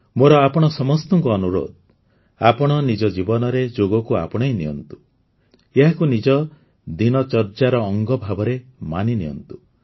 ମୋର ଆପଣ ସମସ୍ତଙ୍କୁ ଅନୁରୋଧ ଆପଣ ନିଜ ଜୀବନରେ ଯୋଗକୁ ଆପଣେଇ ନିଅନ୍ତୁ ଏହାକୁ ନିଜ ଦିନଚର୍ଯ୍ୟାର ଅଙ୍ଗ ହିସାବରେ ମାନି ନିଅନ୍ତୁ